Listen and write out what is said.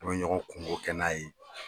Ɲɔgɔn kungo kɛ n'a ye